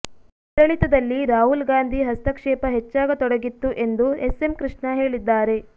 ಆಡಳಿತದಲ್ಲಿ ರಾಹುಲ್ ಗಾಂಧಿ ಹಸ್ತಕ್ಷೇಪ ಹೆಚ್ಚಾಗತೊಡಗಿತ್ತು ಎಂದು ಎಸ್ ಎಂ ಕೃಷ್ಣ ಹೇಳಿದ್ದಾರೆ